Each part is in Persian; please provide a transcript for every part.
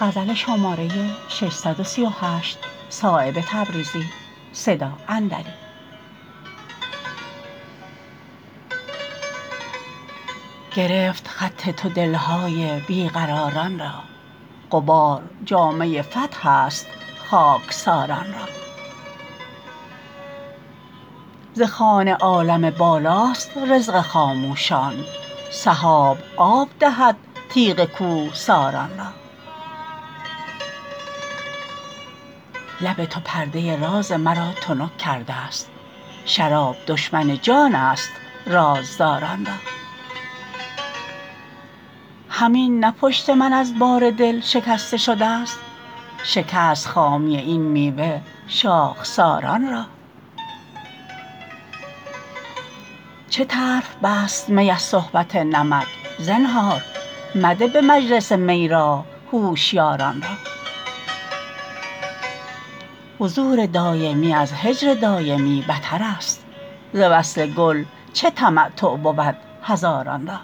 گرفت خط تو دلهای بی قراران را غبار جامه فتح است خاکساران را ز خوان عالم بالاست رزق خاموشان سحاب آب دهد تیغ کوهساران را لب تو پرده راز مرا تنک کرده است شراب دشمن جان است رازداران را همین نه پشت من از بار دل شکسته شده است شکست خامی این میوه شاخساران را چه طرف بست می از صحبت نمک زنهار مده به مجلس می راه هوشیاران را حضور دایمی از هجر دایمی بترست ز وصل گل چه تمتع بود هزاران را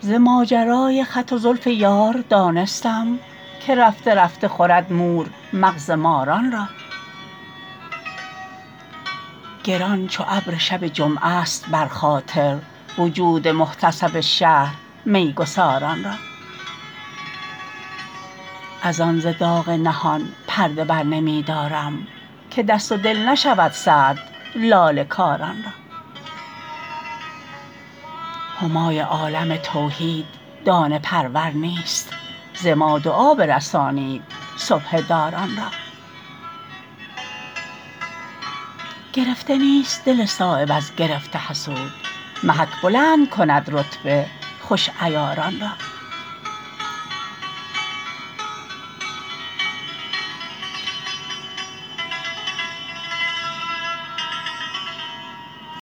ز ماجرای خط و زلف یار دانستم که رفته رفته خورد مور مغز ماران را گران چو ابر شب جمعه است بر خاطر وجود محتسب شهر میگساران را ازان ز داغ نهان پرده بر نمی دارم که دست و دل نشود سرد لاله کاران را همای عالم توحید دانه پرور نیست ز ما دعا برسانید سبحه داران را گرفته نیست دل صایب از گرفت حسود محک بلند کند رتبه خوش عیاران را